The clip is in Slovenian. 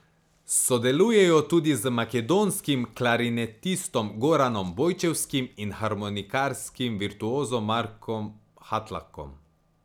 Sodelujejo tudi z makedonskim klarinetistom Goranom Bojčevskim in harmonikarskim virtuozom Markom Hatlakom.